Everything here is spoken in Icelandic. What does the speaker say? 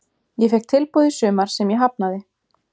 Ég fékk tilboð í sumar sem ég hafnaði.